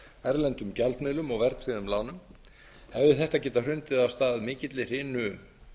erlendum gjaldmiðlum og verðtryggðum lánum hefði þetta getað hrundið af stað mikilli hrinu